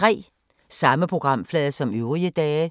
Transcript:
Samme programflade som øvrige dage